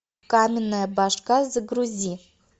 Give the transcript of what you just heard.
каменная башка загрузи